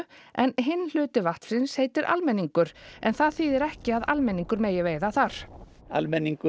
hinn hluti vatnsins heitir almenningur en það þýðir ekki að almenningur megi veiða þar almenningur